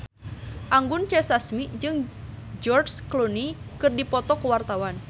Anggun C. Sasmi jeung George Clooney keur dipoto ku wartawan